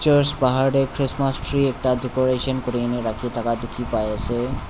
church bahar tae christmas tree ekta decoration kurina rakhithaka dikhipaiase.